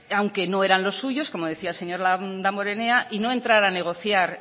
aunque no eran los suyos como decía el señor damborenea y no entrar a negociar